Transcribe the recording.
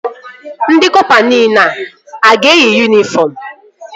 Ndị kọpa nile a ga-eyi yunifọm?